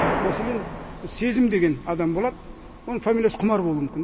мәселен сезім деген адам болады оның фамилиясы құмар болуы мүмкін